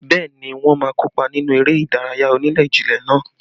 Bẹẹ ni, wọ́n má kópa nínú eré ìdárayá onílé-jilé náà